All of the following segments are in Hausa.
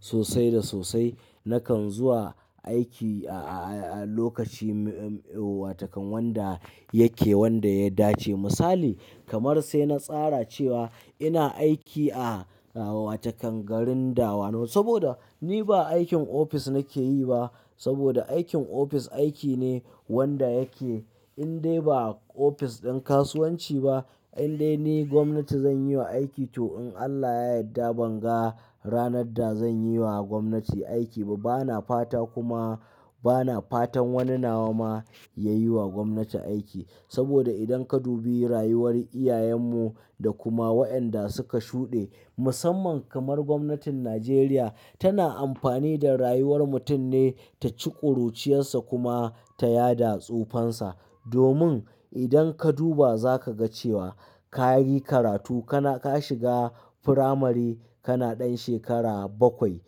Sosai da sosai nakan zuwa aiki a, a, a lokaci wa takan wanda yake wanda ya dace. Misali kamar se natsara cewa ina aiki a, a, a wa takan garin dawanau saboda ni ba aikin office nakeyiba saboda aikin ofis aikine wanda yake inde ba ofis din kasuwanci ba indai ni gwamnati zanyiwa aiki to in Allah ya yadda to banga ranadda zanyiwa gwamnati aiki ba bana fata kuma bana fatan wani nawa ma yayi wa gwamnati aiki saboda idan kadubi rayuwar iyayan mu da kuma wa'inda suka shude musamman kamar gwamnatin najeriya tana amfani da rayuwar mutun ne taci kuruciyarsa kuma ta yada tsuoan sa domin, idan kaduba zakaga cewa kayi karatu kana kashiga firamari kana dan shekara bakwai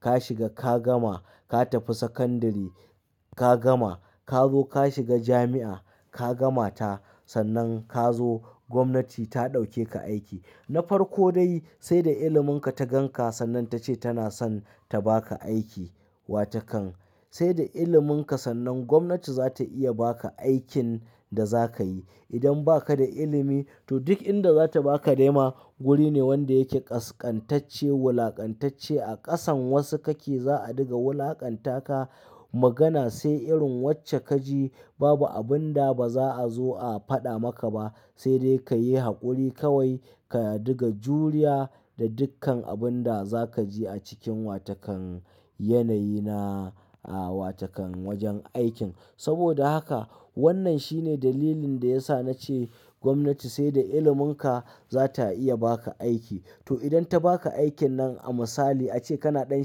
kashiga kagama katafi sakandiri kagama kazo kashiga jami'a kagamata sannan ka zo gwamnati ta ɗauke ka aiki. Nafarko dai saida ilimin ka taganka sannan tace tanasan tabaka aiki watakan, saida ilimin ka sannan gwamnati zata iya baka aikin dazakayi idan bakada ilimi to dik inda zata baka dema wurine wanda yake kaskantacce wulakantacce akasan wasu kake za a diga wulakanta ka magana sai irin wacce kaji babu abunda baza azo a fada maka ba sede kayi hakuri kawai ka diga juriya da dikkan abunda zakaji a cikin watakan yanayi na a watakan wajan aikin saboda haka wannan shine dalilin da yasa nace gwamnati sai da ililmin ka zata iya aiki to idan tabaka aikin nan a misali a ce kana dan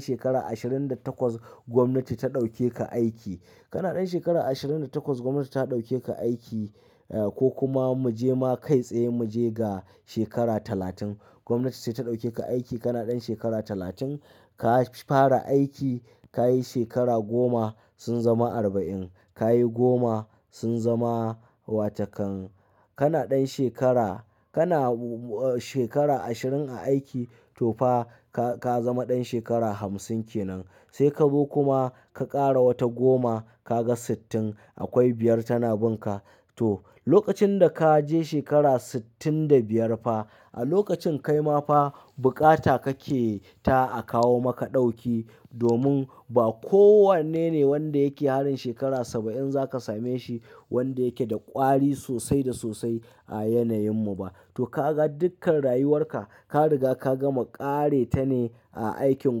shekara ashirin da takwas gwamnati ta daukeka aiki. Kana dan shekara ashirin da takwas dinnan gwamnati ta dauke ka aiki a kokuma muje ma kai tsaye muje ga shekara talatim. Gwamnati sai ta ɗauke ka aiki kana ɗan shekara talatin. Kafara aiki kayi shekara goma sun zama arba'in. Kayi goma sunzama watakan kana da shekara kana. Shekara ashirin a aiki tofa ka kazama dan shekara hamsin kenan Sekazo kuma ka kara wata goma kaga sittin akwai biyar tana binka to lokacin da ka je shekara sittin da biyar fa a lokacin kai ma fa bukata kake ta a kawo maka ɗauki domin ba kowannene wanda yake harin shekara saba'in za ka same shi wanda yake da ƙwari sosai da sosai a yanayin mu ba. To ka ga dukkan rayuwarka ka riga ka gama ƙare ta ne a aikin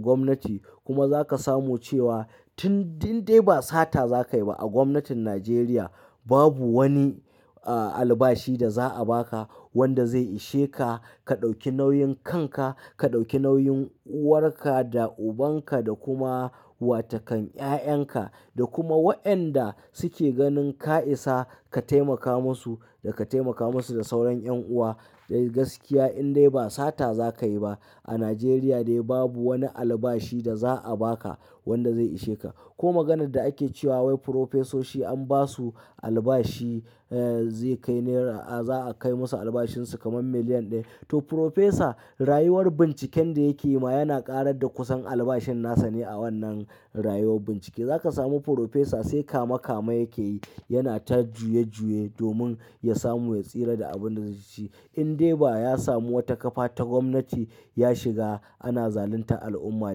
gwamnati kuma za ka samu cewa tin din de ba sata za kai ba a gwamnatin Najeriya. Babu wani, a, albashi da za a ba ka wanda zai ishe ka. Ka ɗauki nauyin kanka, ka ɗauki nauyin uwarka da ubanka da kuma wa takan 'ya'yanka da kuma wayanda suke ganin ka isa ka taimaka masu da ka taimaka masu da sauran ƴan uwa wai gaskiya in dai ba sata za ka yi ba. A Najeriya dai babu wani albashi da za a ba ka wanda zai ishe ka. Ko maganadda ake cewa wai profesoshi an ba su albashi, eh, zai kai nera, za a kai musu albashin su kamar miliyan ɗaya. To profesa rayuwar binciken da yake yi ma yana ƙarar da kusan albashin nasa ne a wannan rayuwar bincike. Za ka samu frofesa sai kama kama yake yi yana ta juye juye domin ya samu ya tsira da abin da zai ci. In de ba ya samu wata ƙafa ta gwamnati ya shiga ana zaluntar al'umma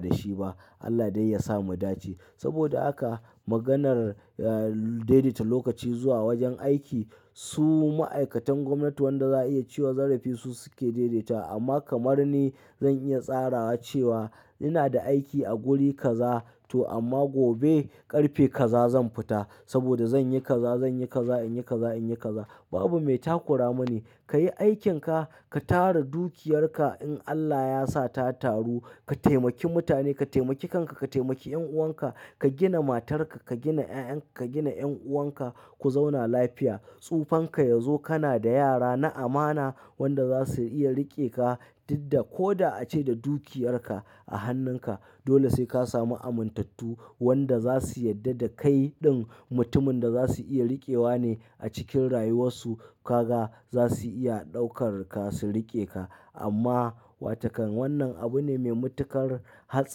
da shi ba. Allah dai ya sa mu dace. Saboda haka maganar, eh, daidaita lokaci zuwa wajen aiki su ma'aikatan gwamnati wanda za a iya ciwa zarafi su suke dedetawa amma kamarni zan iya tsarawa cewa inada aiki a guri kaza to amma gobe karfe kaza zanfita saboda zanyi kaza zanyi kaza inyi kaza inyi kaza. Babu me takura mani. Ka yi aikin ka, ka tara dukiyarka in Allah ya sa ta taru. Ka taimaki mutane, ka taimaki kanka, ka taimaki ƴan'uwanka, ka gina matarka, ka gina 'ya'yanka, ka gina ƴan'uwanka ku zauna lafiya. Tsufanka yazo kana da yara na amana wanda za su iya riƙe ka ɗidda ko da ace da dukiyarka a hannun ka. Dole sai ka samu amintattu wanda za su yadda da kai ɗin mutumin da za su iya riƙewa ne a cikin rayuwarsu. Ka ga za su iya ɗaukar ka su riƙe ka. Amma wa takan wannan abu ne me matuƙar hatsar--